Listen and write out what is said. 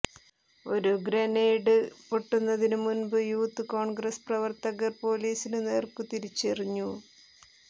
ഒരു ഗ്രനേഡ് പൊട്ടുന്നതിനു മുൻപു യൂത്ത് കോൺഗ്രസ് പ്രവർത്തകർ പൊലീസിനു നേർക്കു തിരിച്ചെറിഞ്ഞു